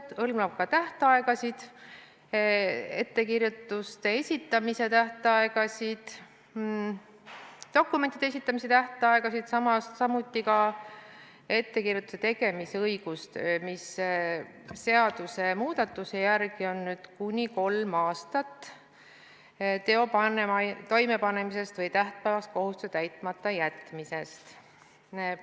See hõlmab ka ettekirjutuste esitamise tähtaegasid, dokumentide esitamise tähtaegasid, samuti ettekirjutuse tegemise õiguse tähtaega, mis seadusmuudatuse järgi on nüüd kuni kolm aastat teo toimepanemisest või tähtpäevast kohustuse täitmata jätmisest.